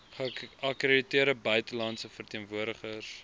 geakkrediteerde buitelandse verteenwoordigers